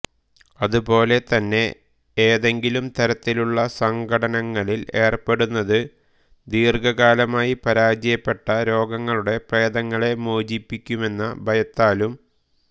അതുപോലെ തന്നെ ഏതെങ്കിലും തരത്തിലുള്ള സംഘട്ടനങ്ങളിൽ ഏർപ്പെടുന്നത് ദീർഘകാലമായി പരാജയപ്പെട്ട രോഗങ്ങളുടെ പ്രേതങ്ങളെ മോചിപ്പിക്കുമെന്ന ഭയത്താലും